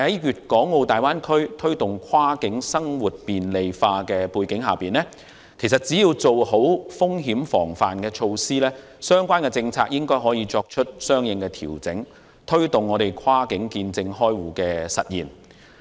不過，在大灣區推動跨境生活便利化的背景下，只要做好風險防範措施，相關政策應可作出相應調整，推動跨境見證開戶的實現。